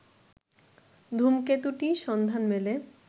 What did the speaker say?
ধূমকেতুটির সন্ধান মেলে